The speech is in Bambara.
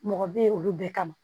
Mɔgɔ bɛ ye olu bɛɛ kama